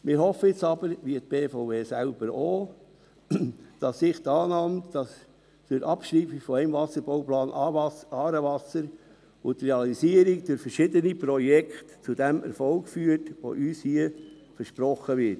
Wir hoffen jetzt aber – wie auch die BVE selbst –, dass sich die Annahme, dass die Abschreibung des Wasserbauplans «Aarewasser» und die Realisierung durch verschiedene Projekte zum Erfolg führt, der uns hier versprochen wird.